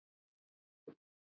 Mikið var gaman þennan dag.